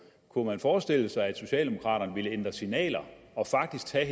kunne forestille sig at socialdemokraterne ville ændre signaler og faktisk tage